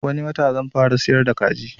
Wani wata zan fara siyar da kaji